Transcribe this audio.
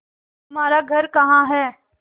तुम्हारा घर कहाँ है